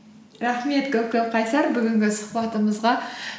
рахмет көп көп қайсар бүгінгі сұхбатымызға